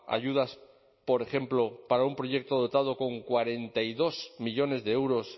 ayudas por ejemplo para un proyecto dotado con cuarenta y dos millónes de euros